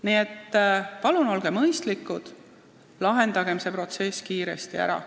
Nii et palun olgem mõistlikud ja lahendagem see olukord kiiresti ära.